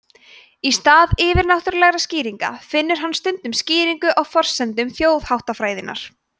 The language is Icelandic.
í stað yfirnáttúrulegra skýringa finnur hann stundum skýringar á forsendum þjóðháttafræðinnar